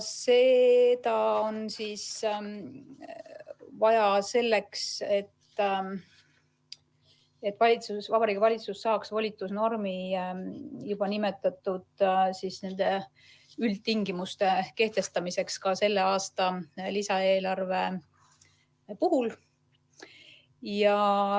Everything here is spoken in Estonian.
Seda on vaja selleks, et Vabariigi Valitsus saaks volitusnormi juba nimetatud üldtingimuste kehtestamiseks ka selle aasta lisaeelarve puhul.